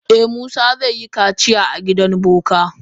Eh musa zai yi kaciya a gidan boka.